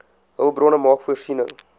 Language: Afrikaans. hulpbronne maak voorsiening